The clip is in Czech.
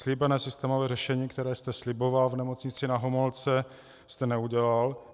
Slíbené systémové řešení, které jste sliboval v Nemocnici Na Homolce, jste neudělal.